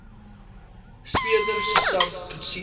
speurder sersant coetzee